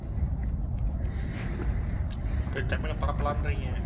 போய் தமிழை பரப்பலாங்கறீங்க.